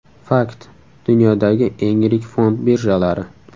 Fakt: Dunyodagi eng yirik fond birjalari.